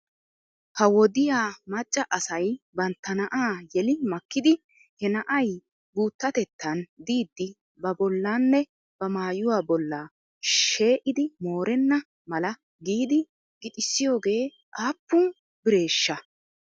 Ha wodiyaa macca asay bantta na'aa yeli makkidi he na'ay guuttatettan diiddi babollanne ba maayuwaa bolla shee'idi moorenna mala giidi gixissiyoogee aappun bireeshsha?